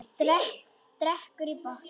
Drekkur í botn.